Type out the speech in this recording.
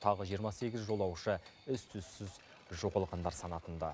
тағы жиырма сегіз жолаушы із түзсіз жоғалғандар санатында